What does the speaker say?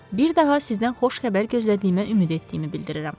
Bir daha sizdən xoş xəbər gözlədiyimə ümid etdiyimi bildirirəm.